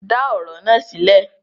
Dá ọ̀rọ̀ na sílẹ̀!